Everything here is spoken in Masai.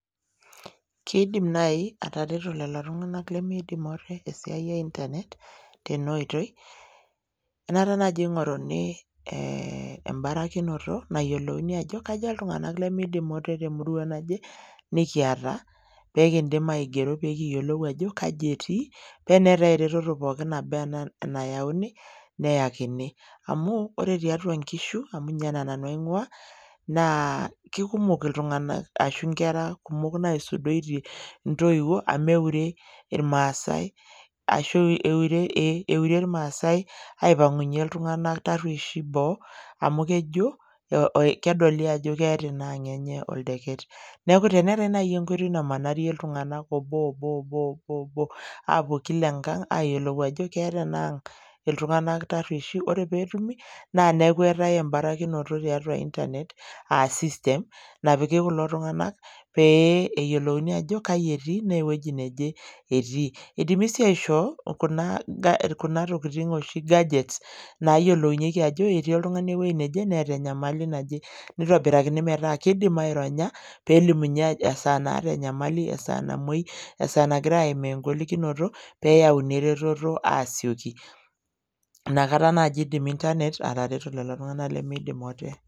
Kiidim naaji atareto lelo tung'anak lemiidim ate tesiai e internet tena oitoi enaata naaji ing'oruni eh embarakinoto nayiolouni ajo kaja iltung'anak lemiidim ate temurua naje nekiata pekindim aigero pee kiyiolou ajo kaji etii paa eneetae eretoo pookin naba anaa enayauni neyakini amu ore tiatua inkishu amu ninye naa nanu aing'ua naa kikumok iltung'anak ashu inkera kumok naisudoitie intoiwuo amu eure irmaasae ashu eure irmaasae aipang'unyie iltung'anak tarruesh boo amu kejo eh kedoli ajo keeta ina ang enye oldeket neeku teneetae naaji enkoitoi namanarie iltung'anak obo obo obo aapuo kila enkang ayiolou ajo keeta enang iltung'anak tarrueshi ore peetumi naa neeku eetae embarakinoto tiatua internet uh system napiki kulo tung'anak pee eyiolouni ajo kaji etii naa ewueji neje etii idimi sii aishoo kuna ga kuna tokiting oshi gadgets nayiolounyieki ajo ketii oltung'ani ewuei neje neeta enyamali naje nitobirakini metaa kidim aironya pelimunyie ajo esaa naata enyamali esaa namuoi esaa nagirae aimaa enyamali kinoto peyauni eretoto aasioki inakata naaji eidim internet atereto lelo tung'anak lemeidim ote.